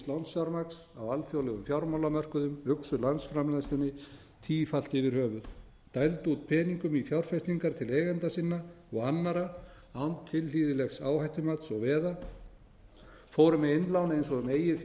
lánsfjármagns á alþjóðlegum fjármálamörkuðum uxu landsframleiðslunni tífalt yfir höfuð dældu út peningum í fjárfestingar til eigenda sinna og annarra án tilhlýðilegs áhættumats og veða fóru með innlán eins og um eigið fé væri